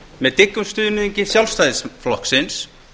með dyggum stuðningi sjálfstæðisflokksins